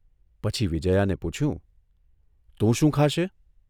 પછી વિજયાને પૂછયુંઃ તું શું ખાશે?